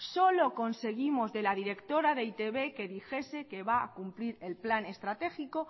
solo conseguimos de la directora de e i te be que dijese que va a cumplir el plan estratégico